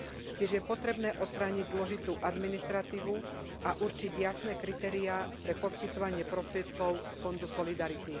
Tiež je potrebné odstrániť zložitú administratívu a určiť jasné kritériá pre poskytovanie prostriedkov z Fondu solidarity.